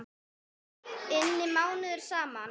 inni mánuðum saman.